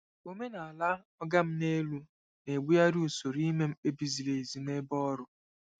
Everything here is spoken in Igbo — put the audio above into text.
Omenala oga m nelu na-egbugharị usoro ime mkpebi ziri ezi nebe ọrụ.